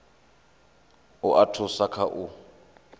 u a thusa kha u